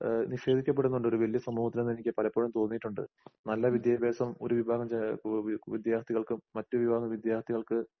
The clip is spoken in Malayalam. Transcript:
ഏഹ് നിഷേധിക്കപ്പെടുന്നുണ്ടൊരുവല്യസമൂഹത്തിനിന്നെനിക്ക് പലപ്പൊഴുംതോന്നീട്ടുണ്ട്. നല്ല വിദ്യാഭാസം ഒരുവിഭാഗം ജ എഹ് ഒ ഓവി വിദ്യാർത്ഥികൾക്കും മറ്റുവിഭാഗവിദ്യാർത്ഥികൾക്ക്